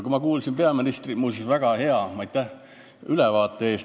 Muuseas, aitäh peaministrile väga hea ülevaate eest!